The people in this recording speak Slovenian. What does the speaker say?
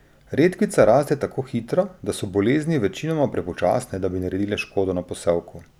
Redkvica raste tako hitro, da so bolezni večinoma prepočasne, da bi naredile škodo na posevku.